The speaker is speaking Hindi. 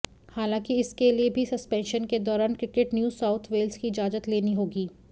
हालांकि इसके लिए भी सस्पेंशन के दौरान क्रिकेट न्यू साउथ वेल्स की इजाजत लेनी होगी